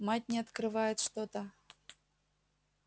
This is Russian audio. мать не открывает что-то